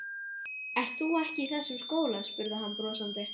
Ekki ert þú í þessum skóla? spurði hann brosandi.